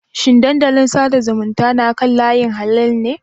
Shin dandalin sada zumunta na kan layi halal ne?